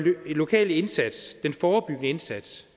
lokal indsats en forebyggende indsats